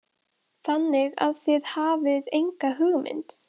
Þannig að þið hafið enga hugmynd?